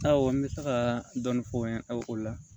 Awɔ n bɛ se ka dɔɔnin fɔ n ye o la